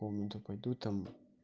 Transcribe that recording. в комнату пойду там